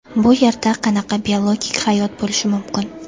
Bu yerda qanaqa biologik hayot bo‘lishi mumkin?